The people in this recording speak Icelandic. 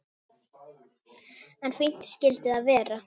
En fínt skyldi það vera!